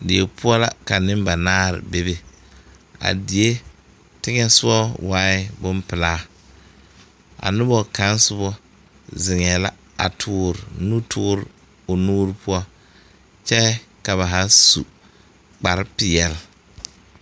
Die poɔ la ka nimbanaare bebe a die tegɛsɔgɔ waaɛ bonpilaa a noba kaŋ soba ziŋɛɛ la a tɔɔre nu tɔɔre o mu poɔ kyɛ ka ba zaa su kpare peɛl.